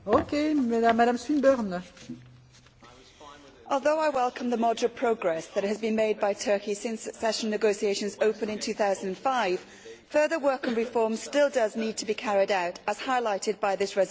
Madam President, although I welcome the moderate progress that has been made by Turkey since accession negotiations opened in 2005, further work on reform does still need to be carried out, as highlighted by this resolution.